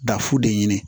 Dafu de ɲini